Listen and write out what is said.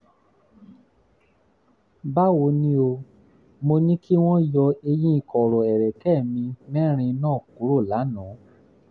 báwo ni o? mo ní kí wọ́n yọ eyín kọ̀rọ̀ ẹ̀rẹ̀kẹ́ mi mẹ́rin náà kúrò lánàá